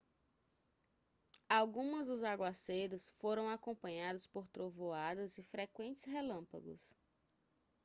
algumas dos aguaceiros foram acompanhados por trovoadas e frequentes relâmpagos